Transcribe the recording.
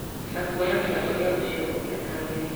Na kuonania ũrĩa ũcio ũngĩ atagĩrĩire